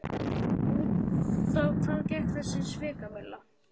En út á hvað gekk þessi svikamylla?